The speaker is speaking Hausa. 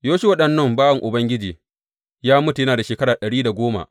Yoshuwa ɗan Nun, bawan Ubangiji, ya mutu yana da shekara ɗari da goma.